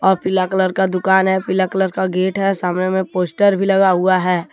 अ पीला कलर का दुकान है पीला कलर का गेट है सामने में पोस्टर भी लगा हुआ है।